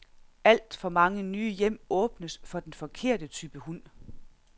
Alt for mange nye hjem åbnes for den forkerte type hund.